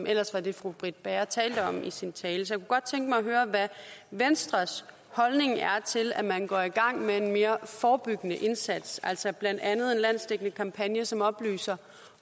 ellers var det fru britt bager talte om i sin tale så godt tænke mig at høre hvad venstres holdning er til at man går i gang med en mere forebyggende indsats altså blandt andet en landsdækkende kampagne som oplyser